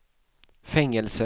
fängelse